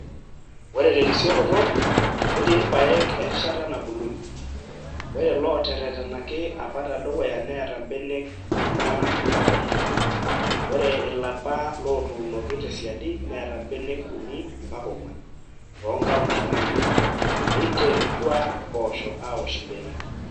Ore terisioroto, netii irpaek erishata nabulunyie, ore looteretenaki apa tedukuya neeta mbenek 4-6, ore ilapa lootuunoki te siadi neeta mbenek 3-4 too nkauntini uni, neiterutua mpoosho aawosh mbenek.